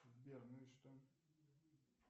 сбер ну и что